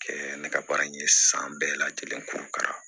Kɛ ne ka baara in ye san bɛɛ lajɛlen kurun kala